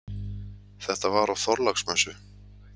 Þetta var á Þorláksmessu.